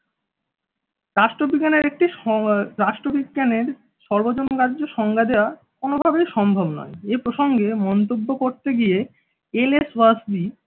রাষ্ট্রবিজ্ঞানের একটি স রাষ্ট্রবিজ্ঞানের সর্বজন গ্রাহ্য সংজ্ঞা দেওয়া কোনোভাবেই সম্ভব নয়। এ প্রসঙ্গে মন্তব্য করতে গিয়ে এল এস ওসপি